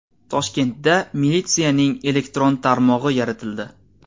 Toshkentda militsiyaning elektron tarmog‘i yaratildi.